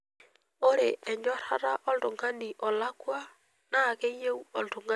Ore enyorrata oltung'ani olakua naa keyieu oltung'ani oisiligayu.